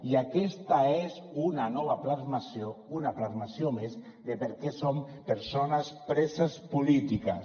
i aquesta és una nova plasmació una plasmació més de per què són persones preses polítiques